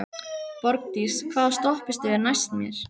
Borgdís, hvaða stoppistöð er næst mér?